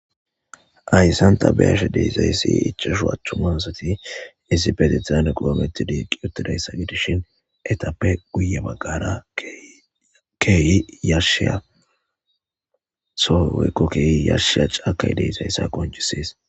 Hayssanta beyashe desayssi ichashu achthumasati isibetetizane kilometi diiqi otadayssa gidishin etappe guye baggara keyi yashshiya sowey woyko keyi yashshiya caakay deysayssa qoncisees.